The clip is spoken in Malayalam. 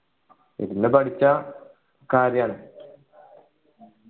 ഇരുന്നു പഠിച്ചാൽ കാര്യാണ്